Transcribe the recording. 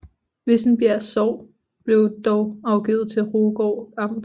Vissenbjerg Sogn blev dog afgivet til Rugård Amt